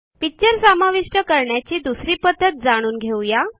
picture समाविष्ट करण्याची दुसरी पध्दत जाणून घेऊ या